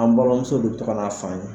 An balimamusow de be togo ka n'a san yan